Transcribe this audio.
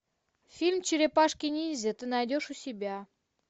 фильм черепашки ниндзя ты найдешь у себя